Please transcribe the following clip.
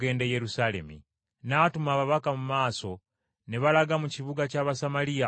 N’atuma ababaka mu maaso ne balaga mu kibuga ky’Abasamaliya okumutegekera.